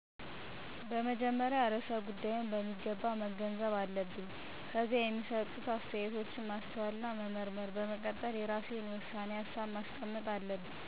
በመጀመሪያ ርዕሰ ጉዳይውን በሚገባ መገንዘብ አለብን። ከዚያ የሚሰጡ አስተያየቶችን ማስተዋልና መመርመር፣ በመቀጠል የራሴን የውሳኔ ሀሳብ ማስቀመጥ አለብኝ።